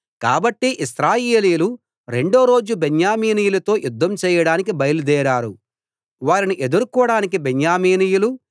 కాబట్టి ఇశ్రాయేలీయులు రెండో రోజు బెన్యామీనీయులతో యుద్ధం చేయడానికి బయల్దేరారు వారిని ఎదుర్కోడానికి బెన్యామీనీయులు